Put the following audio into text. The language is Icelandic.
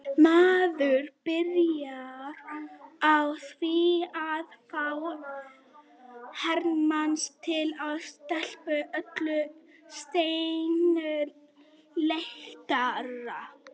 Maður byrjar á því að fá her manns til að stela öllu steini léttara.